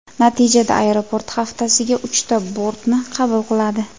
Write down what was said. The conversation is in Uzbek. Natijada aeroport haftasiga uchta bortni qabul qiladi.